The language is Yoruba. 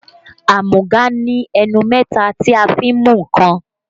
Amúga ní ẹnu mẹ́ta tí a fi n mú nǹkan